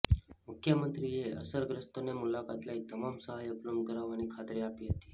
મુખ્યમંત્રીએ અસરગ્રસ્તોની મુલાકાત લઈ તમામ સહાય ઉપલબ્ધ કરાવવાની ખાતરી આપી હતી